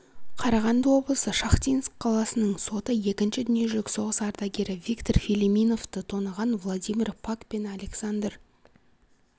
қарағанды облысы шахтинск қаласының соты екінші дүниежізілік соғыс ардагері виктор филимоновты тонаған владимир пак пен александр